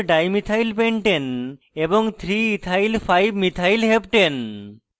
2 4dimethyl pentane এবং 3ethyl5methyl heptane